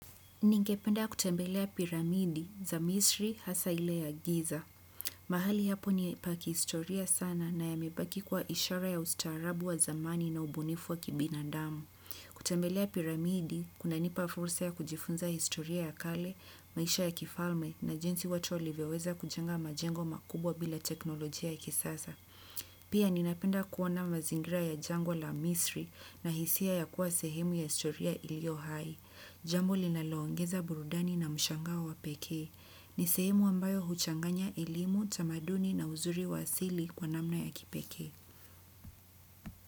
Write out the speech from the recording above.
Ningependa kutembelea piramidi za misri hasa ile ya giza. Mahali hapo ni pakihistoria sana na yamebaki kuwa ishara ya ustaarabu wa zamani na ubunifu wa kibinadamu. Kutembelea piramidi, kuna nipa fursa ya kujifunza historia ya kale, maisha ya kifalme na jinsi watu walivyoweza kujenga majengo makubwa bila teknolojia ya kisasa. Pia ninapenda kuona mazingira ya jangwa la misri na hisia ya kuwa sehemu ya historia iliyo hai. Jambo linaloongeza burudani na mshangao wa pekee. Ni sehemu ambayo huchanganya elimu, tamaduni na uzuri wa asili kwa namna ya kipekee.